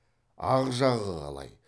ақ жағы қалай